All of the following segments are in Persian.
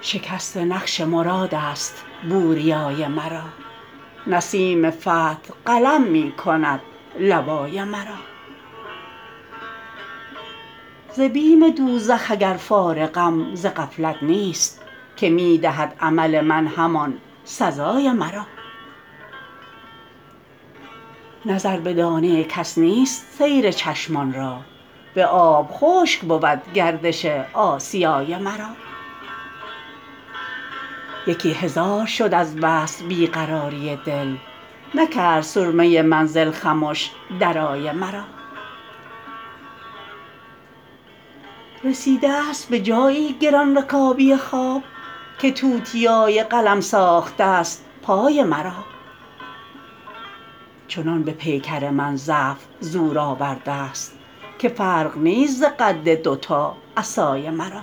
شکست نقش مرادست بوریای مرا نسیم فتح قلم می کند لوای مرا ز بیم دوزخ اگر فارغم ز غفلت نیست که می دهد عمل من همان سزای مرا نظر به دانه کس نیست سیر چشمان را به آب خشک بود گردش آسیای مرا یکی هزار شد از وصل بی قراری دل نکرد سرمه منزل خمش درای مرا رسیده است به جایی گران رکابی خواب که توتیای قلم ساخته است پای مرا چنان به پیکر من ضعف زور آورده است که فرق نیست ز قد دوتا عصای مرا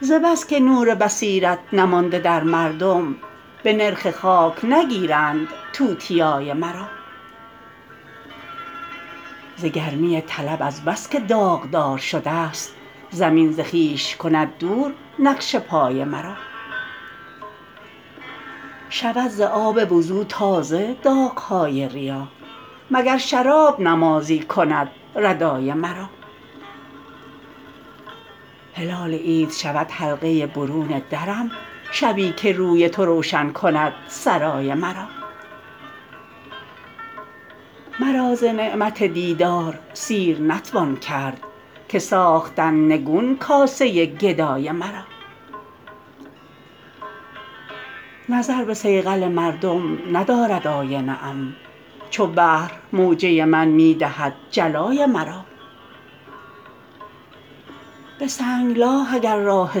ز بس که نور بصیرت نمانده در مردم به نرخ خاک نگیرند توتیای مرا ز گرمی طلب از بس که داغدار شده است زمین ز خویش کند دور نقش پای مرا شود ز آب وضو تازه داغ های ریا مگر شراب نمازی کند ردای مرا هلال عید شود حلقه برون درم شبی که روی تو روشن کند سرای مرا مرا ز نعمت دیدار سیر نتوان کرد که ساختند نگون کاسه گدای مرا نظر به صیقل مردم ندارد آینه ام چو بحر موجه من می دهد جلای مرا به سنگلاخ اگر راه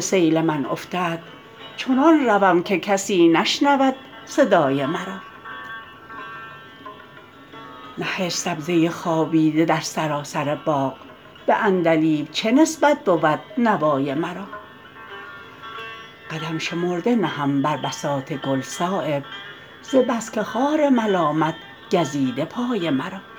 سیل من افتد چنان روم که کسی نشنود صدای مرا نهشت سبزه خوابیده در سراسر باغ به عندلیب چه نسبت بود نوای مرا قدم شمرده نهم بر بساط گل صایب ز بس که خار ملامت گزیده پای مرا